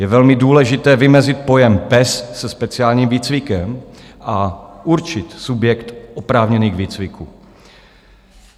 Je velmi důležité vymezit pojem pes se speciálním výcvikem a určit subjekt oprávněný k výcviku.